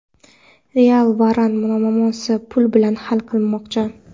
"Real" Varan muammosini pul bilan hal qilmoqchi.